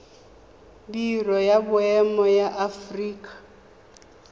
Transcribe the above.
biro ya boemo ya aforika